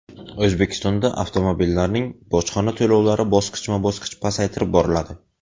O‘zbekistonda avtomobillarning bojxona to‘lovlari bosqichma-bosqich pasaytirib boriladi.